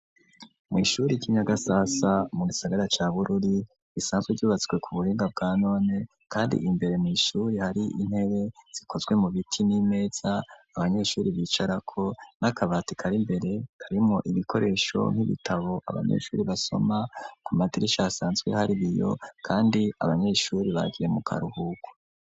mu ishuri ry'inyagasasa mu gisagara cya bururi isanzwe ryubatswe ku buhinga bwa none kandi imbere mu ishuri hari intebe zikozwe mu biti n'imeza abanyeshuri bicara ko n'akabati kari imbere tarimo ibikoresho nk'ibitabo abanyeshuri basoma ku matrishi asanzwe hari biyo kandi abanyeshuri bagiye mu karuhuku